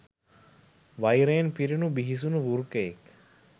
වෛරයෙන් පිරුණු බිහිසුණු වෘකයෙක්